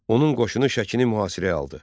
Onun qoşunu Şəkini mühasirəyə aldı.